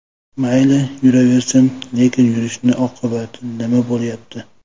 Mayli, yuraversin, lekin yurishni oqibati nima bo‘lyapti.